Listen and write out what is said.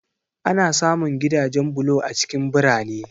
Ana samun gidajen bulo a cikin birane.